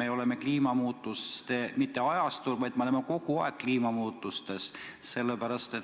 meil ei ole käes mitte kliimamuutuste ajastu, vaid me oleme kogu aeg olnud kliimamuutuste keskel.